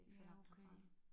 Ja okay